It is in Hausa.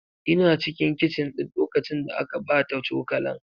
Ina cikin kicin ɗin lokacin da aka ɓata cokalan.